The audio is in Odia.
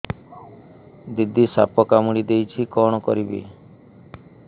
ଦିଦି ସାପ କାମୁଡି ଦେଇଛି କଣ କରିବି